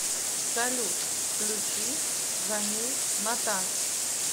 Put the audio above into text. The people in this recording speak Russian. салют включи джанил натас